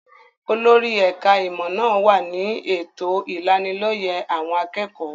Olórí ẹ̀ka-ìmọ̀ náà wà ní ètò ìlanilọ́yẹ́ àwọn akẹ́kọ̀ọ́.